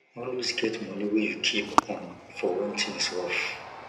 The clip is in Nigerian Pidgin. always get moni wey you keep um for when things rough